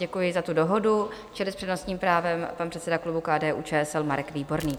Děkuji za tu dohodu, čili s přednostním právem pan předseda klubu KDU-ČSL Marek Výborný.